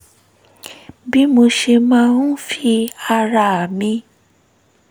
bí mo ṣe máa ń fi ara mi